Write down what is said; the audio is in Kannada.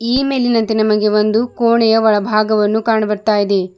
ಈ ಮೇಲಿನಂತೆ ನಮಗೆ ಒಂದು ಕೋಣೆಯ ಒಳಭಾಗವನ್ನು ಕಾಣ ಬರ್ತಾಯಿದೆ.